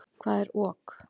Hvað er ok?